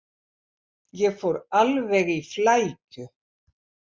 Ég fór alveg í flækju.